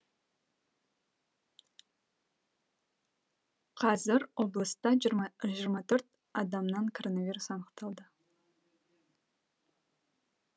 қазір облыста жиырма төрт адамнан коронавирус анықталды